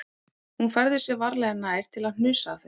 Hún færði sig varlega nær til að hnusa af þessu